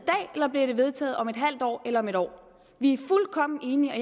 i det vedtaget om et halvt år eller om et år vi er fuldkommen enige og